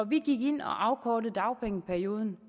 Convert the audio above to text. vi gik ind og afkortede dagpengeperioden